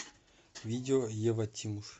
видео ева тимуш